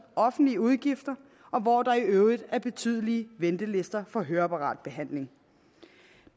offentlige udgifter og hvor der i øvrigt er betydelige ventelister for høreapparatbehandling